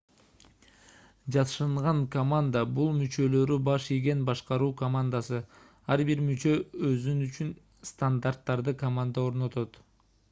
жашынган команда - бул мүчөлөрү баш ийген башкаруу командасы ар бир мүчө үчүн стандарттарды команда орнотот